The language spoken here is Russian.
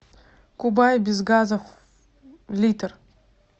кубай без газа литр